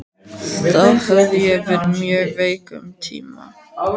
Þá hafði ég verið mjög veik um tíma.